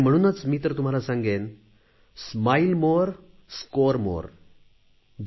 आणि म्हणूनच मी तर तुम्हाला सांगेन अधिक हसा अधिक गुण मिळवा